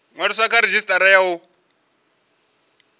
ṅwaliswa kha redzhisitara ya u